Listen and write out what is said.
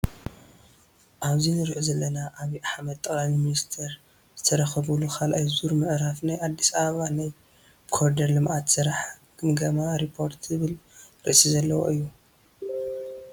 ኣብዚ እንሪኦ ዘለና ኣብይ ኣሕመድ ጠቅላሊ ሚኒስተር ዝተረከቡሉ ካልኣይ ዙር ምዕራፍ ናይ አዲስ ኣበባ ናይ ኮሪደር ልምዓት ስራሕ ገምጋም ሪፖርት ዝብል ርእሲ ዘለዎ እዩ።